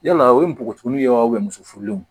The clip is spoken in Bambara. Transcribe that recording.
Yala o ye npogotiginin ye wa muso furulenw